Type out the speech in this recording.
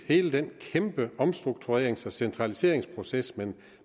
hele den kæmpe omstrukturerings og centraliseringsproces man